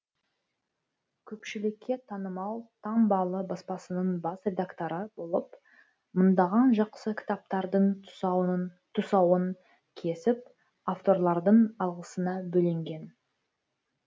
көпшілікке танымал таңбалы баспасының бас редакторы болып мыңдаған жақсы кітаптардың тұсауын кесіп авторлардың алғысына бөленген